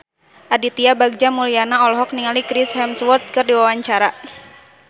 Aditya Bagja Mulyana olohok ningali Chris Hemsworth keur diwawancara